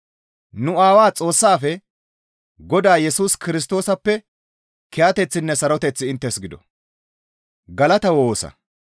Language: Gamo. nu Aawaa Xoossaafe, Godaa Yesus Kirstoosappe kiyateththinne saroteththi inttes gido.